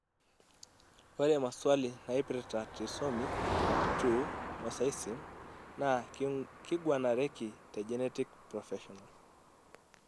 ore maswali naipirta trisomy 2 mosaicism naa keiguanareki te genetic professional.